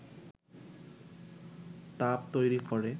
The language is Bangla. তাপ তৈরি করে